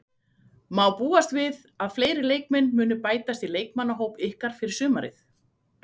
Má búast við að fleiri leikmenn muni bætast í leikmannahóp ykkar fyrir sumarið?